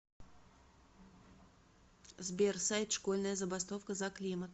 сбер сайт школьная забастовка за климат